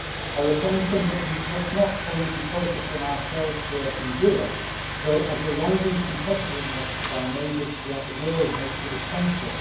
Our attention must not only be focused on ourselves here in Europe though the rising competitiveness of our neighbours throughout the world makes it essential.